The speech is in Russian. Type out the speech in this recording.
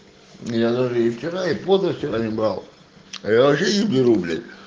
я даже и вчера и позавчера не брал я вообще не беру бля